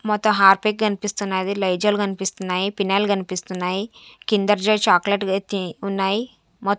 మొత్తం హార్పిక్ కనిపిస్తున్నది లైజాల్ కనిపిస్తున్నాయి పినాయిల్ కనిపిస్తున్నాయి కిండర్ జాయ్ చాక్లెట్ తే-- ఉన్నాయి మొత్--